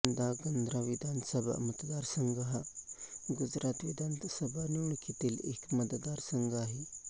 ध्रांगध्रा विधानसभा मतदारसंघ हा गुजरात विधानसभा निवडणुकीतील एक मतदारसंघ आहे